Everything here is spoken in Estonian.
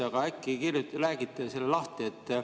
Aga äkki te räägite selle lahti?